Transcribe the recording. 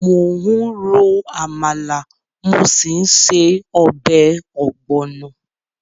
Mò ń ro àmàlà, mo sì ń se ọbẹ̀ ogbono.